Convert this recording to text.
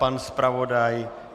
Pan zpravodaj?